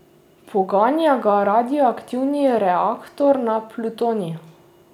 Poganja ga radioaktivni reaktor na plutonij.